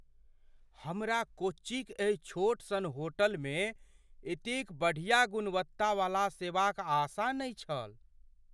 हमरा कोच्चिक एहि छोट सन होटलमे एतेक बढ़िया गुणवत्तावला सेवाक आशा नहि छल।